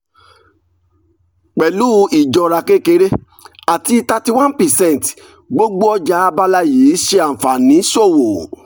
pẹ̀lú ìjọra kékeré àti thirty one percent gbogbo ọjà abala yìí ṣe àǹfààní ṣòwò.